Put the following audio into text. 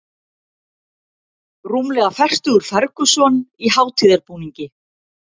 Rúmlega fertugur Ferguson í hátíðarbúningi